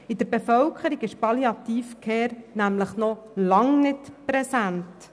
Bei der Bevölkerung ist die Palliative Care nämlich noch lange nicht präsent.